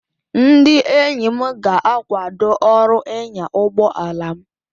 Ndị enyi m ga-akwado ọrụ ịnya ụgbọ ala m